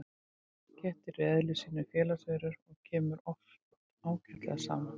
Kettir eru í eðli sínu félagsverur og kemur oft ágætlega saman.